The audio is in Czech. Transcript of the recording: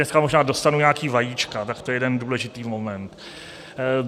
Dneska možná dostanu nějaký vajíčka, tak to je jeden důležitý moment.